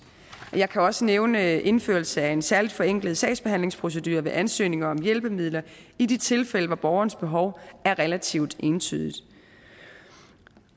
og jeg kan også nævne indførelse af en særlig forenklet sagsbehandlingsprocedure ved ansøgninger om hjælpemidler i de tilfælde hvor borgerens behov er relativt entydigt